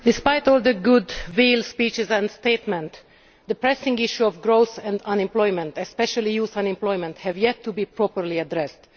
Mr President, despite all the goodwill speeches and statements, the pressing issues of growth and unemployment especially youth unemployment have yet to be properly addressed.